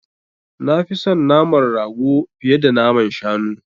Nafi son naman rago fiye da naman shanu.